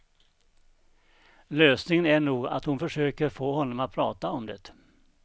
Lösningen är nog att hon försöker få honom att prata om det.